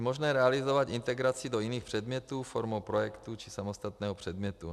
Je možné realizovat integraci do jiných předmětů formou projektu či samostatného předmětu.